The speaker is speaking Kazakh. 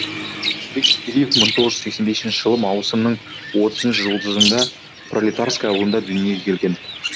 қазбек гетериев мың тоғыз жүз сексен бесінші жылы маусымның отызыншы жұлдызында пролетарское ауылда дүниеге келген